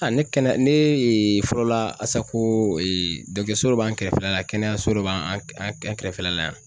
A ne kɛnɛya ne fɔlɔla Asacoo so dɔ b'an kɛrɛfɛla la kɛnɛyaso dɔ b'an an k an an kɛrɛfɛla la yan